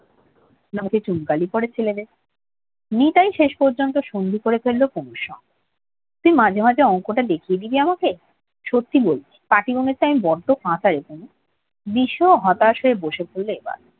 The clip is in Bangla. মুখে চুনকালি পরে ছেলেদের নিতাই শেষ পর্যন্ত সঙ্গেই করে ফেলল কুমুর সঙ্গে তুই মাঝে মাঝে অংকটা দেখিয়ে দিবি আমাকে সত্যি বলছি রে পাটিগণিতে আমি বড্ড কাঁচারে কুমু বিষুও হতাশ হয়ে বসে পড়লো এবার